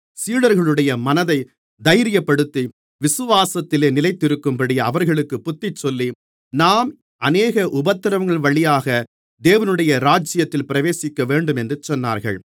சீடர்களுடைய மனதைத் தைரியப்படுத்தி விசுவாசத்திலே நிலைத்திருக்கும்படி அவர்களுக்குப் புத்திசொல்லி நாம் அநேக உபத்திரவங்களின்வழியாக தேவனுடைய ராஜ்யத்தில் பிரவேசிக்கவேண்டும் என்று சொன்னார்கள்